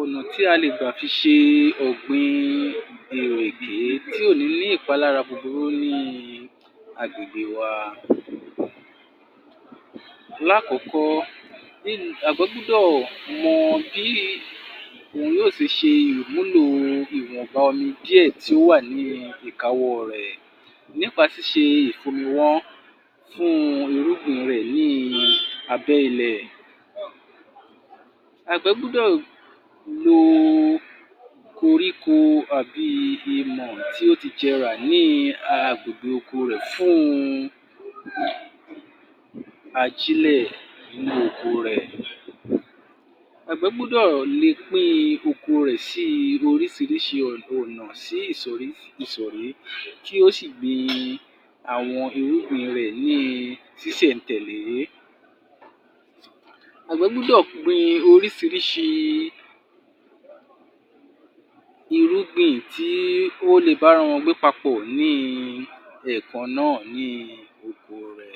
Ọ̀nà tí a lè gba ṣe ọ̀gbìn ìrèké tí ò nìí ní ìpalára búburu ní agbègbè wa. Lákọ̀ọ́kọ́ ná, àgbẹ̀ gbọ́dọ̀ mọ bí yóò ṣe ṣe ìmúlò wọ̀nba omi díẹ̀ tó wà ní ìkáwọ́ rẹ̀ nípa ṣíṣẹ-ìfomiwọ́n fún irúgbìn rẹ̀ ní abẹ́ ilẹ̀. Àgbẹ̀ gbúdọ̀ lo koríko bí imọ̀ tí ó ti jẹrà ní agbègbè oko rẹ̀ fún ajílẹ̀ inú oko rẹ̀. Àgbẹ̀ gbúdọ̀ le pín-in oko rẹ̀ sí oríṣiríṣi ọ̀nà sih ìsọ̀rí ìsọ̀rí kí ó sì gbin àwọn irúgìn rẹ̀ ní sísẹ̀-n-tẹ̀lé. Àgbẹ̀ gbúdọ̀ oríṣiríṣi irúgìn kí wọ́n le bára wọn gbé papọ̀ ni ẹ̀kan náà ní oko rẹ̀.